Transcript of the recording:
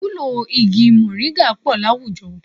Ìwúlò igi mọ̀nríńgà pọ̀ àwùjọ